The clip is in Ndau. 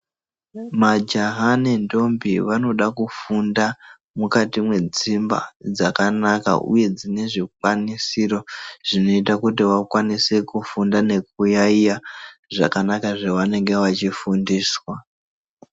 Majaha nemhandara vanoda kufunda mukati mwedzimba dzakanaka uye dzine zvikwanisiro zvinoita kuti vakwanise kuyayeya zvakanaka zvanenge vachifundiswa.